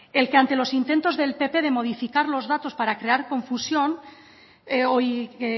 el que